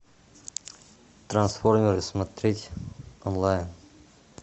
трансформеры смотреть онлайн